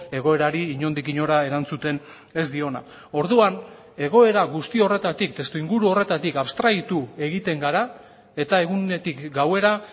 egoerari inondik inora erantzuten ez diona orduan egoera guzti horretatik testuinguru horretatik abstraitu egiten gara eta egunetik gauera